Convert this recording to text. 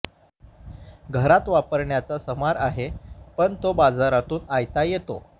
घरात वापरण्याचा समार आहे पण तो बाजारातून आयता येतो